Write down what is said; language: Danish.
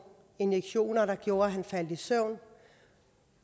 injektioner der gjorde at han faldt i søvn